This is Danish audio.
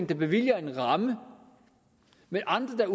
der bevilger en ramme men andre